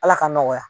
Ala k'an nɔgɔya